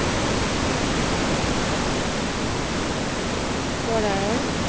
করার